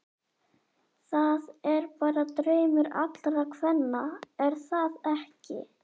Það er bara draumur allra kvenna er það ekki?